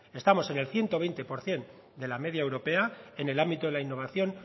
estamos en el ciento veinte por ciento de la media europea en el ámbito de la innovación